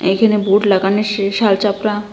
এইখানে বোর্ড লাগানে সে শাল চাপরা।